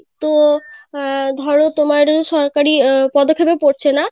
তো আহ ধরো তোমার সরকারি পদক্ষেপে পড়ছে না